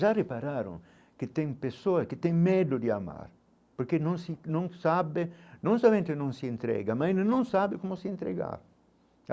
Já repararam que tem pessoa, que tem medo de amar, porque não se não sabe não somente não se entrega, mas não sabe como se entregar.